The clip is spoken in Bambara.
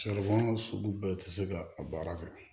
Saribɔn sugu bɛɛ tɛ se ka a baara kɛ